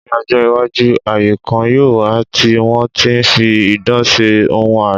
Ní ọjọ́-iwájú, ayé kan yóò wà tí wọ́n ti ń fi idán ṣe ohun àrà.